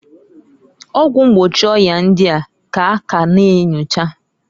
Ọgwụ mgbochi ọya ndia ka a ka na enyocha.